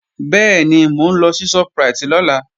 Bẹ́ẹ̀ni, mò ń lọ sí Shoprite lọ́la